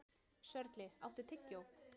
Sörli, áttu tyggjó?